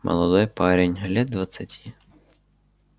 молодой парень лет двадцати